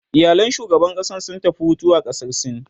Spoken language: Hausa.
iyalan shugaban ƙasan sun tafi Hutu a ƙasar sin